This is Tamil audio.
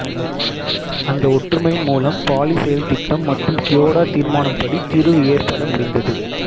அந்த ஒற்றுமையின் மூலம் பாலி செயல் திட்டம் மற்றும் க்யோடோ தீர்மானம்படி தீர்வு ஏற்பட முடிந்தது